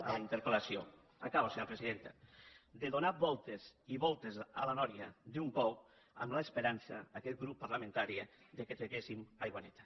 a la interpel·lació acabo senyora presidenta de donar voltes i voltes a la sínia d’un pou amb l’esperança d’aquest grup parlamentari que en traguéssim aigua neta